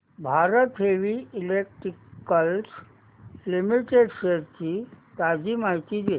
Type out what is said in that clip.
Bharat heavy electricals limited shares ची ताजी माहिती दे